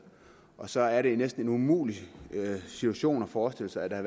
og så er det jo næsten en umulig situation at forestille sig at